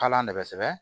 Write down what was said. Kala de bɛ sɛbɛ